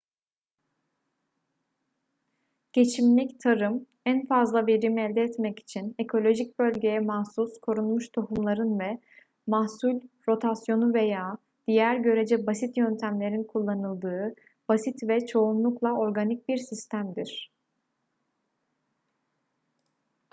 geçimlik tarım en fazla verimi elde etmek için ekolojik bölgeye mahsus korunmuş tohumların ve mahsul rotasyonu veya diğer görece basit yöntemlerin kullanıldığı basit ve çoğunlukla organik bir sistemdir